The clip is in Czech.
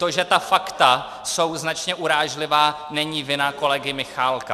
To, že ta fakta jsou značně urážlivá, není vina kolegy Michálka.